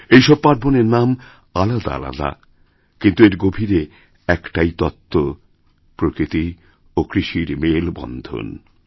এইসব পার্বণের নামআলাদা আলাদা কিন্তু এর গভীরে একটাই তত্ত্ব প্রকৃতি ও কৃষির মেলবন্ধন